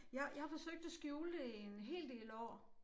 Jeg jeg har forsøgt at skjule det i en hel del år